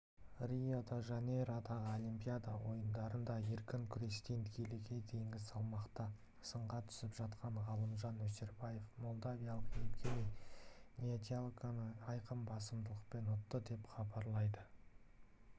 рио-де-жанейродағы олимпиада ойындарында еркін күрестен келіге дейінгі салмақта сынға түсіп жатқан ғалымжан өсербаев молдавиялық евгений недялконы айқын басымдықпен ұтты деп хабарлайды